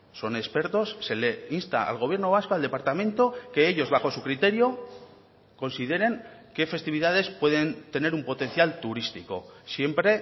son expertos se le insta al gobierno vasco al departamento que ellos bajo su criterio consideren qué festividades pueden tener un potencial turístico siempre